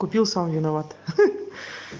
купил сам виноват ха-ха